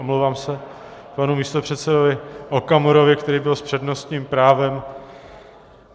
Omlouvám se panu místopředsedovi Okamurovi, který byl s přednostním právem.